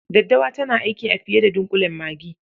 Daddawa tana aiki a fiye da dunƙulen magi.